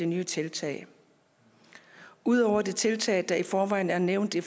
nye tiltag ud over de tiltag der i forvejen er nævnt i